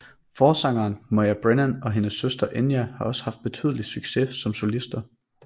Forsanger Moya Brennan og hendes søster Enya har også haft betydelig succes som solister